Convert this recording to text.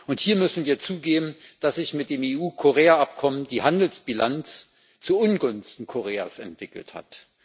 Und hier müssen wir zugeben, dass sich mit dem EU-Korea Abkommen die Handelsbilanz zuungunsten Koreas entwickelt hat.